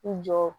I jɔ